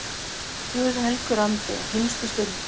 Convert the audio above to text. Guð helgur andi, á hinstu stund